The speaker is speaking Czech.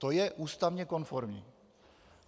To je ústavně konformní.